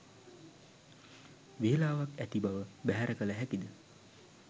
වේලාවක් ඇති බව බැහැර කල හැකිද?